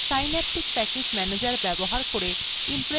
synaptic package manager সম্পর্কে আরও তথ্যের জন্য